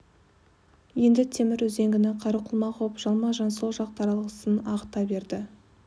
енді темір үзеңгіні қару қылмақ боп жалма-жан сол жақ таралғысын ағыта берді